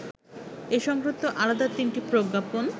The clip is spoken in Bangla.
এ সংক্রান্ত আলাদা তিনটি প্রজ্ঞাপন